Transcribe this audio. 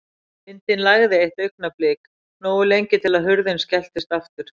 Vindinn lægði eitt augnablik, nógu lengi til að hurðin skelltist aftur.